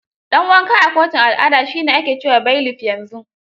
Dan wanka a kotunan al'ada shi ne ake ce wa bailiff yanzu.